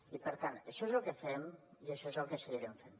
i per tant això és el que fem i això és el que seguirem fent